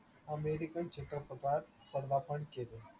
American चित्रपटात पदार्पण केले.